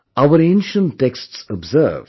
Our ancient texts observe